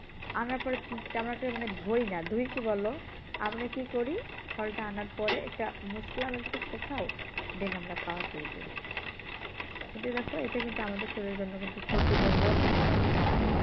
আগাতে কেমন একটা মানে ধুই না ধুই কি বলো আমরা কি করি ফলটা আনার পরে এটা কুতাও then আমরা খাওয়া শুরু করি কিন্তু দেখো এটা কিন্তু আমাদের শরীরের জন্য ক্ষতিকর রোগ তুলতে পারে পরে